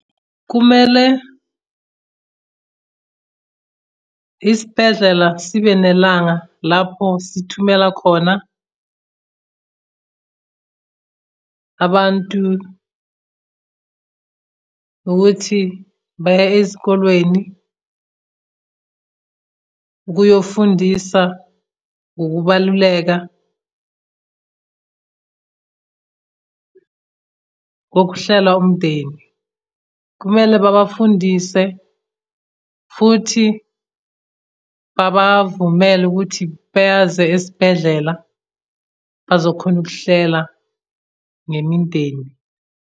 Kumele isibhedlela sibe nelanga lapho sithumela khona abantu ukuthi baye ezikolweni ukuyofundisa ngokubaluleka kokuhlela umndeni. Kumele babafundise futhi babavumele ukuthi beyaze esibhedlela bazokhona ukuhlela ngemindeni.